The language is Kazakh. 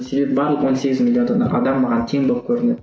себебі барлық он сегіз миллион адам маған тең болып көрінеді